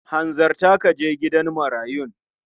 Hanzarta ka je gidan marayun!